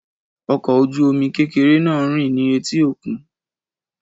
Ọkọ̀ ojú omi kékeré náà ń rìn ní etí òkun